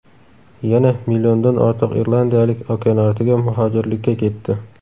Yana milliondan ortiq irlandiyalik okeanortiga muhojirlikka ketdi.